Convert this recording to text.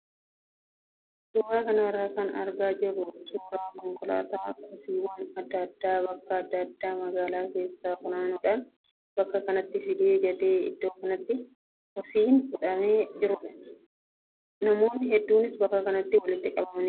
Suuraa kanarraa kan argaa jirru suuraa konkolaataa kosiiwwan adda addaa bakka adda addaa magaalaa keessaa funaanuudhaan bakka kanatti fidee gatee iddoo kanatti kosiin kuufamee jirudha. Namoonni hedduunis bakka kanatti walitti qabamaniiru.